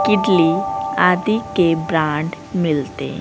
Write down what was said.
किड़ली आदि के ब्रांड मिलते--